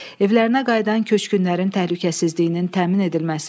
Evlərinə qayıdan köçkünlərin təhlükəsizliyinin təmin edilməsi.